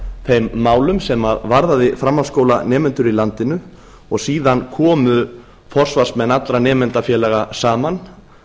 þeim málum sem varðaði framhaldsskólanemendur í landinu og síðan komu forsvarsmenn allra nemendafélaga saman